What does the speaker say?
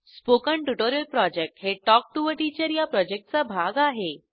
spoken tutorial project हे talk to teacher या प्रॉजेक्टचा भाग आहे